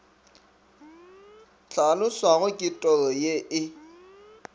hlaloswago ke toro ye e